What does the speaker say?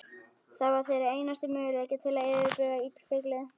Það var þeirra einasti möguleiki til að yfirbuga illfyglið.